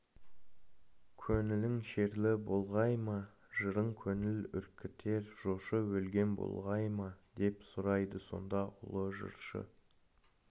көңілің шерлі болғай ма жырың көңіл үркітер жошы өлген болғай ма деп сұрайды сонда ұлы жыршы